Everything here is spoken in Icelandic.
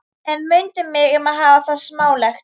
En mundu mig um að hafa það smálegt.